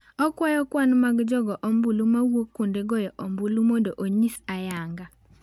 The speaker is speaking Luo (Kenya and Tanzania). Okwayo kwan mag jogo ombulu mawuok kuond goyo ombulu mondo onyis ayanga.